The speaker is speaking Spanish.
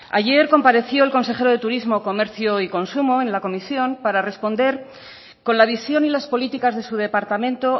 ayer compareció el consejero de turismo comercio y consumo en la comisión para responder con la visión y las políticas de su departamento